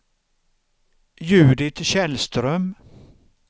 Judit Källström